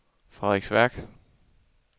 Frederiksværk